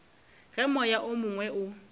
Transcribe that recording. ge moya o mongwe o